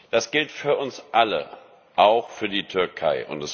Das gilt für uns alle, auch für die Türkei.